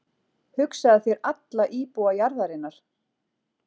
Hugsaðu þér alla íbúa jarðarinnar.